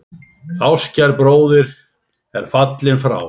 Ástkær bróðir er fallinn frá.